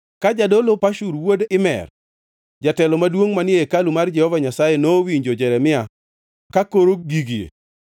Ka jadolo Pashur wuod Imer, jatelo maduongʼ manie hekalu mar Jehova Nyasaye, nowinjo Jeremia kakoro gigie,